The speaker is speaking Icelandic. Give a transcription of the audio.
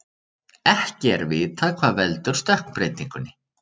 Ekki er vitað hvað veldur stökkbreytingunni.